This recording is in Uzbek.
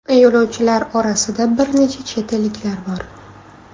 Yo‘lovchilar orasida bir necha chet elliklar bor.